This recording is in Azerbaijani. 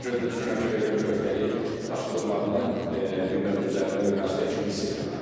Ona görə də düşünürəm ki, belə bir öhdəlik daşıdıqlarını bir növ öz üzərində bir məsuliyyət kimi hiss etməməlidirlər.